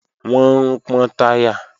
Wọ́n ń pọ́n táyà